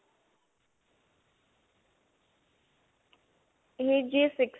AG six